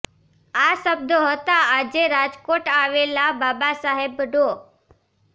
આ શબ્દો હતા આજે રાજકોટ આવેલા બાબા સાહેબ ડો